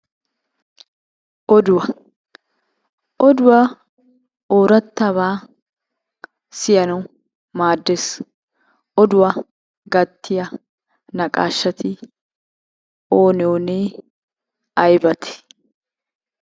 Oduwaa, oduwa oorataba siyanawu maaddees. Oduwaa gattiya naqashshati oonee oonee? Aybatee?